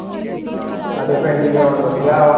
ਸਾਡੇ ਪਿੰਡ ਈ ground ਵਧੀਆ ਆ